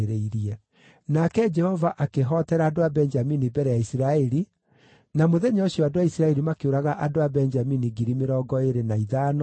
Nake Jehova akĩhootera andũ a Benjamini mbere ya Isiraeli, na mũthenya ũcio andũ a Isiraeli makĩũraga andũ a Benjamini 25,100, arĩa meeohete hiũ cia njora.